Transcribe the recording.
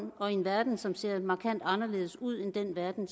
og i en verden som ser markant anderledes ud end den verden